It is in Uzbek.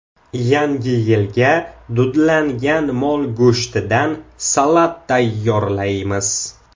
Yangi yilga dudlangan mol go‘shtidan salat tayyorlaymiz.